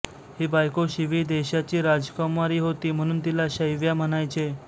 ही बायको शिवी देशाची राजकुमारी होती म्हणून तिला शैव्या म्हणायचे